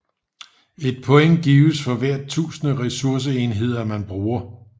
Et point gives for hvert tusinde ressourceenheder man bruger